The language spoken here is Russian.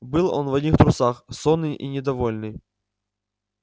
был он в одних трусах сонный и недовольный